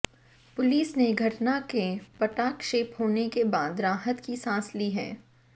police ने घटना के पटाक्षेप होने के बाद राहत की सांस ली है